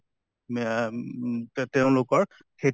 মেহ তেওঁলোকৰ সেইটো